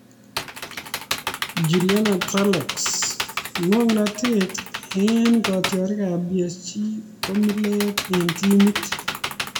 Julian Draxler:Ng'oknotet eng kitiorikab PSG ko mileet eng timit